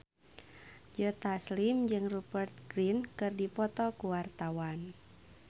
Joe Taslim jeung Rupert Grin keur dipoto ku wartawan